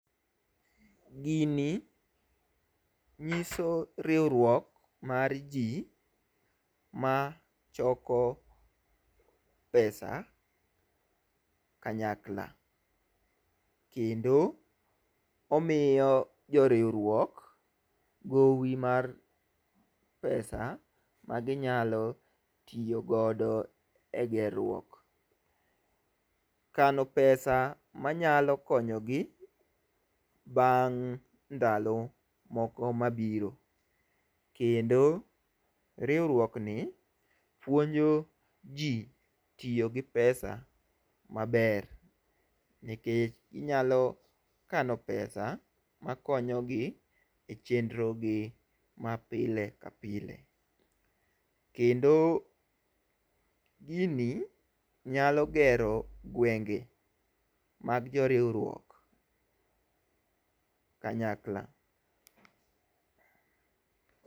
Gini nyiso riwruok mar ji mar choko pesa kanyakla. Kendo omiyo joriwruok gowi mar pesa maginyalo tiyogodo e gerruok. Kano pesa manyalo konyogi bang' ndalo moko mabiro. Kendo riwruok ni puonjo ji tiyo gi pesa maber. Nikech ginyalo kano pesa makonyo gi e chenro gi mapile kapile. Kendo gini nyalo gero gwenge mag jo riwruok kanyakla.